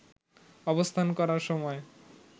অবস্থান করার সময়